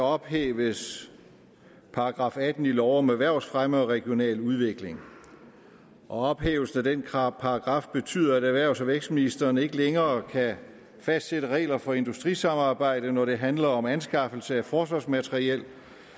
ophæves § atten i lov om erhvervsfremme og regional udvikling og ophævelsen af den paragraf betyder at erhvervs og vækstministeren ikke længere kan fastsætte regler for industrisamarbejde når det handler om anskaffelse af forsvarsmateriel